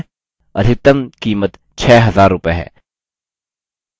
अधिकतम कीमत 6000 रूपये है